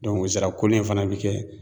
o zirakoli in fana bɛ kɛ